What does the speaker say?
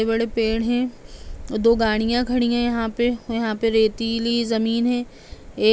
बड़े-बड़े पेड़ है और दो गाड़ीयाँ खड़ी है यहाँ पे और यहाँ पे रेतीली जमीन है। ए --